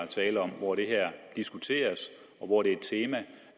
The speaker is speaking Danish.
tale om hvor det her diskuteres og hvor det er et tema